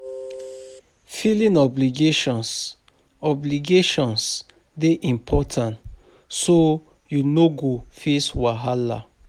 Filing obligations, obligations dey important so yu no go face wahala